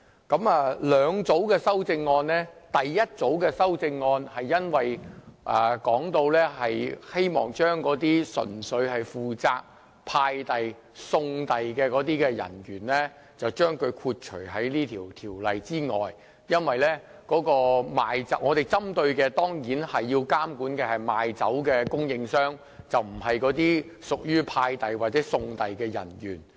這裏有兩組修正案，第一組修正案是希望把純粹負責送遞的人員豁免在《2017年應課稅品條例草案》之外，因為我們針對及監管的對象只是賣酒的供應商，而不是送遞人員。